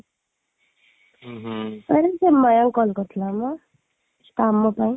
ଆରେ ସେ ମୟ call କରିଥିଲା ମ କାମ ପାଇଁ